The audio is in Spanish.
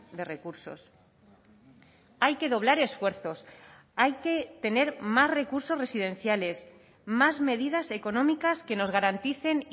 de recursos hay que doblar esfuerzos hay que tener más recursos residenciales más medidas económicas que nos garanticen